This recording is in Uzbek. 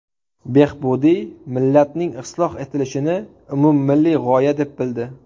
Behbudiy millatning isloh etilishini umummilliy g‘oya deb bildi.